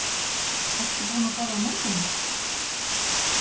Ertu búin að borða morgunmat?